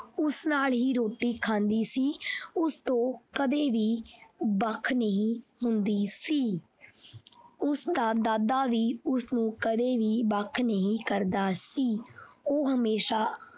ਉਸ ਨਾਲ ਹੀ ਰੋਟੀ ਖਾਂਦੀ ਸੀ ਉਸ ਤੋਂ ਕਦੇ ਵੀ ਵੱਖ ਨਹੀਂ ਹੁੰਦੀ ਸੀ ਉਸਦਾ ਦਾਦਾ ਵੀ ਉਸਨੂੰ ਕਦੇ ਵੀ ਵੱਖ ਨਹੀਂ ਕਰਦਾ ਸੀ ਉਹ ਹਮੇਸ਼ਾ।